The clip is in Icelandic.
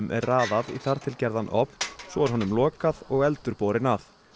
er raðað í þar til gerðan ofn svo er honum lokað og eldur borinn að